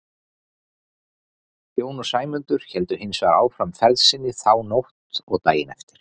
Jón og Sæmundur héldu hins vegar áfram ferð sinni þá nótt og daginn eftir.